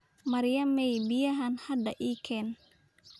Maryamay, biyahaaan hada ii keen